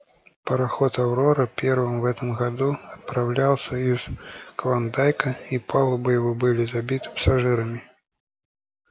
пароход аврора первый в этом году отправлялся из клондайка и палубы его были забиты пассажирами